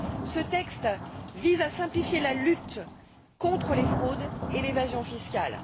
Ce texte vise à simplifier la lutte contre les fraudes et l'évasion fiscale.